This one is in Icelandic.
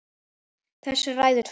Þessu ræður tvennt